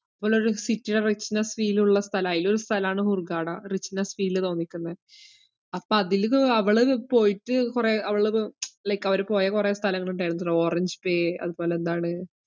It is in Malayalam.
ഒള്ളൊരു city ടെ richness feel ഉള്ള സ്ഥലാ, അതിലൊരു സ്ഥലാണ് ഹൂർഗാഡ richness feel തോന്നിക്കുന്നെ അപ്പ അതിലിത് അവളത് പോയിട്ട് കൊറേ അവളത് like അവര് പോയ കൊറേ സ്ഥലങ്ങളിണ്ടായിരുന്നു, ഒരു ഓറഞ്ച് ബേ അതുപോലെ എന്താണ്